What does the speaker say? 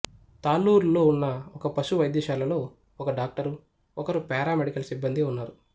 తాళ్ళూరులో ఉన్న ఒక పశు వైద్యశాలలో ఒక డాక్టరు ఒకరు పారామెడికల్ సిబ్బందీ ఉన్నారు